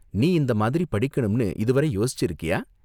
நீ இந்த மாதிரி படிக்கணும்னு இதுவரை யோசிச்சிருக்கியா?